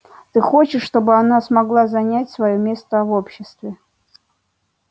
ты хочешь чтобы она смогла занять своё место в обществе